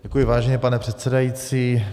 Děkuji, vážený pane předsedající.